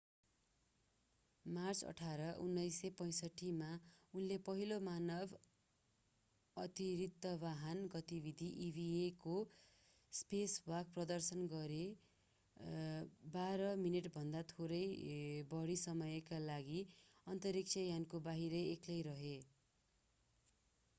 March 18 1965 मा उनले पहिलो मानव अतिरिक्तवाहन गतिविधि eva वा स्पेसवाक” प्रदर्शन गरेर बाह्र मिनेटभन्दा थोरै बढी समयका लागि अन्तरिक्षयानको बाहिर एक्लै रहे।